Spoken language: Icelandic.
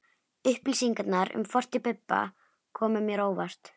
Upplýsingarnar um fortíð Bibba komu mér á óvart.